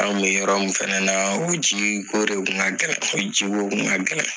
An' kun be yɔrɔ min fɛnɛ naa, o jii ko de tun ka gɛlɛn. O ji ko tun ka gɛlɛn.